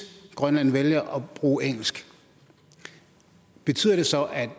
grønland vælger at bruge engelsk betyder det så at